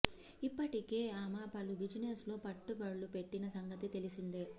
ఇప్పటికే ఆమె పలు బిజినెస్ లో పెట్టుబడులు పెట్టిన సంగతి తెలిసిందే